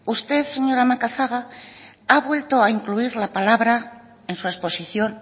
usted señora macazaga ha vuelto a incluir la palabra en su exposición